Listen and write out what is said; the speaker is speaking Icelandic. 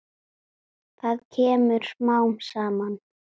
Það kemur smám saman.